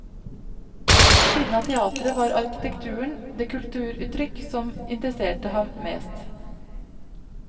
Ved siden av teater var arkitekturen det kulturuttrykk som interesserte ham mest.